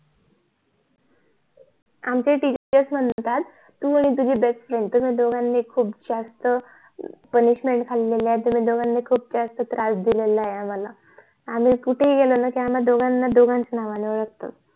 आमचे ही TEACHERS म्हणतात तू आणि तुझी BEST FRIEND कि तुम्ही दोघांनी खूप PUNISHMNT खाले ल्ली आहे मंहून खूप त्रास दिलेला आहे आम्हाला आणि कुठे पण गेले कि आम्हाला आमच्या दोघांच्या नावानी ओळखतात